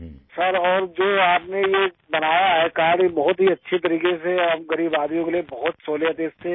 سر اور جو آپ نے یہ بنایا ہے کارڈ ئی بہت ہی اچھے طریقے سے اور ہم غریب آدمیوں کے لیے بہت بڑی سہولت ہے اس سے